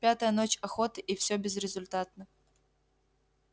пятая ночь охоты и всё безрезультатно